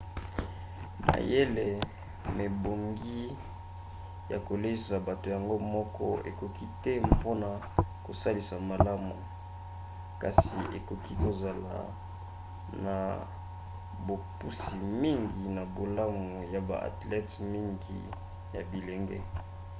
mayele mebongi ya koleisa bato yango moko ekoki te mpona kosalisa malamu kasi ekoki kozala na bopusi mingi na bolamu ya ba athlete mingi ya bilenge